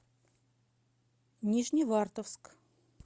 нижневартовск